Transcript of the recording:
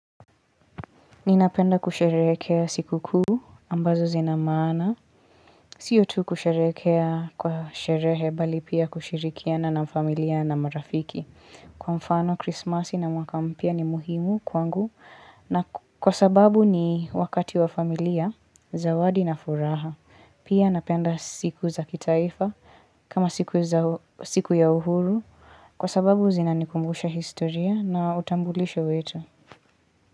Ninapenda kusherekea siku kuu ambazo zina maana. Sio tu kusherekea kwa sherehe bali pia kushirikiana na familia na marafiki. Kwa mfano krismasi na mwaka mpya ni muhimu kwangu na kwa sababu ni wakati wa familia zawadi na furaha. Pia napenda siku za kitaifa kama siku ya uhuru kwa sababu zinanikumbusha historia na utambulisho wetu.